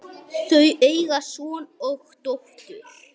Þau eiga son og dóttur.